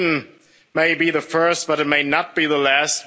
Britain may be the first, but it may not be the